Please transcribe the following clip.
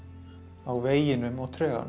á veginum og